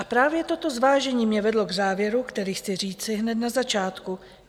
A právě toto zvážení mě vedlo k závěru, který chci říci hned na začátku.